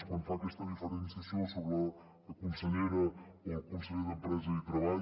quan fa aquesta diferenciació sobre la consellera o el conseller d’empresa i treball